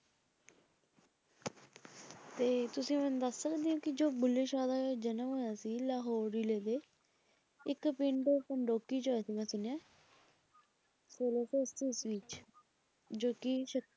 ਤੇ ਤੁਸੀ ਮੈਨੂੰ ਦੱਸ ਸਕਦੇ ਹੋ ਕਿ ਜੋ ਬੁੱਲੇ ਸ਼ਾਹ ਦਾ ਜਨਮ ਹੋਇਆ ਸੀ ਲਾਹੌਰ ਜਿਲ੍ਹੇ ਦੇ ਇਕ ਪਿੰਡ ਪੰਡੋਕੀ ਚ ਹੋਇਆ ਸੀ ਸੁਣਿਆ ਸੋਲਾ ਸੌ ਅੱਸੀ ਈਸਵੀ ਵਿੱਚ ਜੋ ਕੀ,